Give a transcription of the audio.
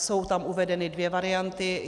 Jsou tam uvedeny dvě varianty.